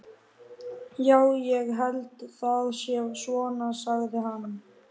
Já, ég held það sé svona, sagði hann.